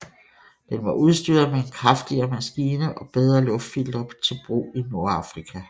Den var udstyret med en kraftigere maskine og bedre luftfiltre til brug i Nordafrika